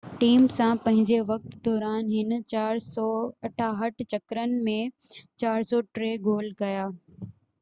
team سان پنھنجي وقت دوران هن 468 چڪرن ۾ 403 گول ڪيا